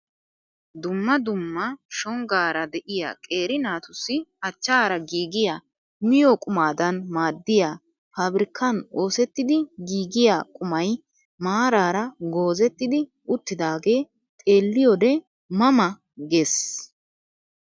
Dumma dumma shonggaara de'iyaa qeeri naatussi achchaara giigiyaa miyoo qumaadan maaddiyaa pabirkkaan oosettidi giigiyaa qumay maarara goozettidi uttidaagee xeelliyode ma ma ges!